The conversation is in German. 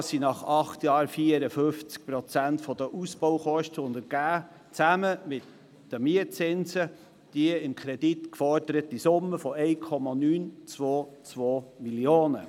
Dies sind nach acht Jahren 54 Prozent der Ausbaukosten, was zusammen mit den Mietzinsen die mit dem Kreditantrag geforderte Summe von 1,922 Mio. Franken ergibt;